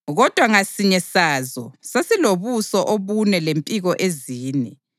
kodwa ngasinye sazo sasilobuso obune lempiko ezine.